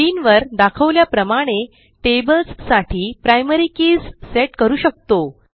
स्क्रीनवर दाखवल्याप्रमाणे tablesसाठी प्रायमरी कीज सेट करू शकतो